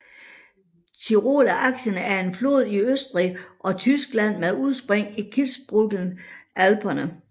Tiroler Achen er en flod i Østrig og Tyskland med udspring i Kitzbühel Alperne